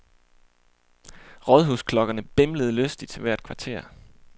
Rådhusklokkerne bimlede lystigt hvert kvarter.